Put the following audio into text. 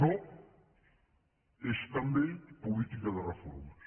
no és també política de reformes